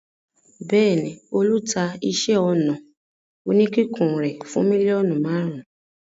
Bẹ́ẹ̀ ni, Olú ta iṣẹ́-ọnà oníkíkùn rẹ̀ fún mílíọ̀nù márùn-ún.